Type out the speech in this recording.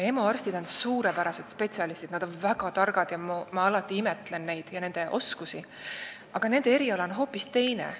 EMO arstid on suurepärased spetsialistid, nad on väga targad – ma alati imetlen neid ja nende oskusi –, aga nende eriala on hoopis teine.